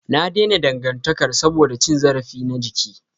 Na daina dangantakar saboda cin zarafi na jiki.